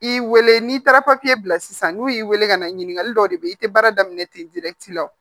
I y'i weele n'i taara papiye bila sisan n'u y'i weele ka na ɲininkali dɔ de bɛ yen i tɛ baara daminɛ ten wa